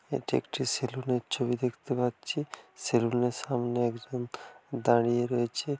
এটি একটি সেলুন এর ছবি দেখতে পাচ্ছি সেলুন এর সামনে একজন দাঁড়িয়ে রয়েছে।